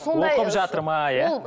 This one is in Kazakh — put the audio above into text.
оқып жатыр ма иә